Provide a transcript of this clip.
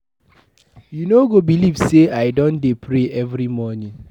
You no go believe say I don dey pray every morning.